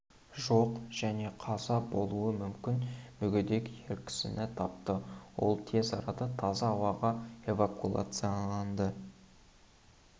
жоқ және қаза болуы мүмкін мүгедек ер кісіні тапты ол тез арада таза ауаға эвакуацияланды